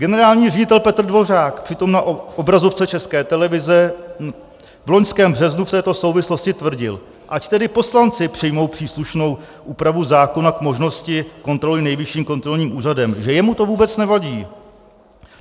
Generální ředitel Petr Dvořák přitom na obrazovce České televize v loňském březnu v této souvislosti tvrdil, ať tedy poslanci přijmou příslušnou úpravu zákona k možnosti kontroly Nejvyšším kontrolním úřadem, že jemu to vůbec nevadí.